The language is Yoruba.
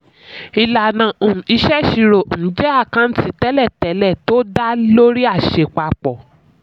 ìlànà um ìṣèṣirò um jẹ́ àkáǹtì tẹ̀lé-tẹ̀lé tó dáa lórí àṣẹ àpapọ̀.